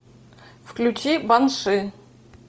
включи банши